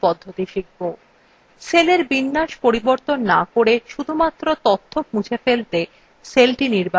সেলের বিন্যাস পরিবর্তন to করে শুধুমাত্র তথ্য মুছে ফেলতে cellthe নির্বাচন করুন